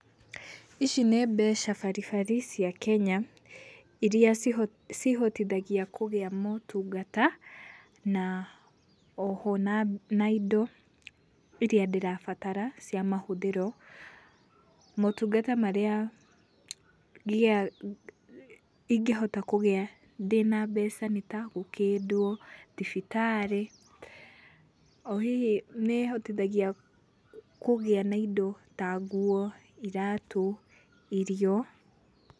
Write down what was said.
Ici nĩ mbeca baribari cia kenya, iria cihotithagio kũgĩa motungata na oho nai naindo iria ndĩrabatara cia mahũthĩro. Motungata marĩa ingĩhota kũgĩa ndĩna mbeca nĩta gũkĩndwo, thibitarĩ, ohihi nĩĩhotithagia kũgĩa na indo ta nguo, iratũ, irio.